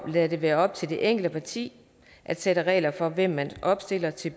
lade det være op til det enkelte parti at sætte regler for hvem man opstiller til